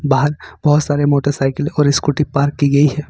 बाहर बहुत सारे मोटरसाइकिल और स्कूटी पार्क की गई है।